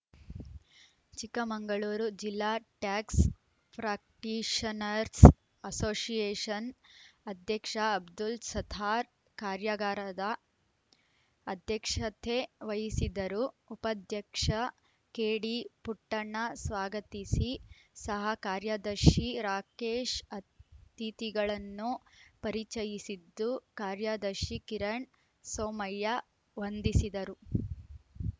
ಚಿಕ್ಕಮಗಳೂರು ಜಿಲ್ಲಾ tax practitioners association ಅಧ್ಯಕ್ಷ ಅಬ್ದುಲ್‌ ಸತ್ತಾರ್‌ ಕಾರ್ಯಾಗಾರದ ಅಧ್ಯಕ್ಷತೆ ವಹಿಸಿದರು ಉಪಾಧ್ಯಕ್ಷ ಕೆಡಿ ಪುಟ್ಟಣ್ಣ ಸ್ವಾಗತಿಸಿ ಸಹ ಕಾರ್ಯದರ್ಶಿ ರಾಕೇಶ್‌ ಅತಿಥಿಗಳನ್ನು ಪರಿಚಯಿಸಿದ್ದು ಕಾರ್ಯದರ್ಶಿ ಕಿರಣ್‌ ಸೋಮಯ್ಯ ವಂದಿಸಿದರು